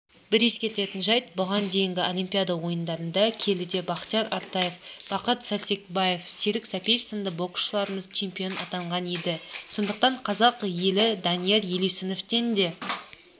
бір ескеретін жайт бұған дейінгі олимпиада ойындарында келідебақтияр артаев бақыт сәрсекбаев серік сәпиевсынды боксшыларымызчемпион атанған еді сондықтан қазақ еліданияр елеусіновтен де